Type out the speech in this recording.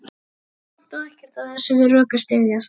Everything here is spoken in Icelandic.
Og samt á ekkert af þessu við rök að styðjast.